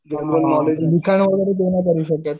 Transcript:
हां दुकान वगैरे करू